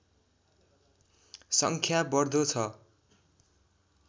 सङ्ख्या बढ्दो छ